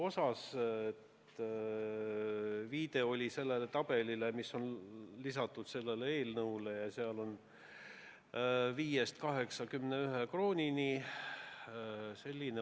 Vastuseks viidati sellele tabelile, mis on eelnõule lisatud, ja seal on näha, et tasu ulatub 5 eurost 81 euroni.